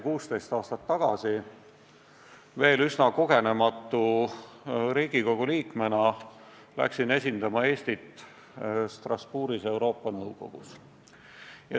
16 aastat tagasi, veel üsna kogenematu Riigikogu liikmena läksin esindama Eestit Strasbourgis Euroopa Nõukogus.